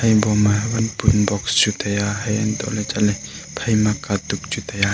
haoliboma wanpun box chu taiya haiantohley chatley phaima katuk chu taiya.